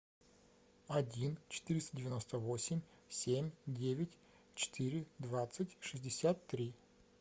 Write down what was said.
один четыреста девяносто восемь семь девять четыре двадцать шестьдесят три